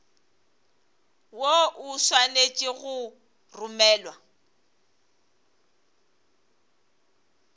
woo o swanetše go romelwa